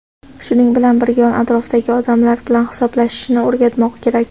shuning bilan birga yon-atrofdagi odamlar bilan hisoblashishni o‘rgatmoq kerak.